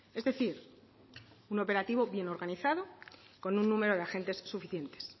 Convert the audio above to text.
es decir un operativo bien organizado con un número de agentes suficientes